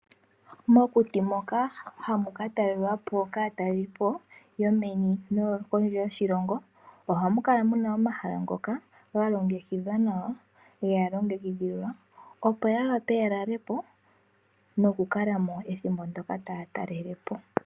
Mokuti moka hamu ka talelwapo kaatalelipo yomeni noyo pondje yoshilongo, ohamu kala muna omahala ngoka ga longekidhwa nawa yega longekidhilwa, opo ya wape ya lale po noku kala mo ethimbo ndyoka taya talelepo.